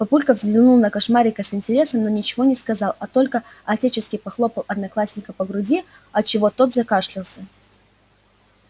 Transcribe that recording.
папулька взглянул на кошмарика с интересом но ничего не сказал а только отечески похлопал одноклассника по груди от чего тот закашлялся